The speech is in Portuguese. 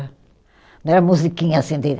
Não era musiquinha assim de